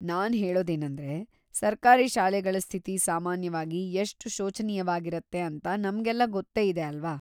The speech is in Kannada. ನಾನ್ ಹೇಳೋದೇನಂದ್ರೆ, ಸರ್ಕಾರಿ ಶಾಲೆಗಳ ಸ್ಥಿತಿ ಸಾಮಾನ್ಯವಾಗಿ ಎಷ್ಟ್ ಶೋಚನೀಯವಾಗಿರತ್ತೆ ಅಂತ ನಮ್ಗೆಲ್ಲ ಗೊತ್ತೇ ಇದೆ ಅಲ್ವಾ?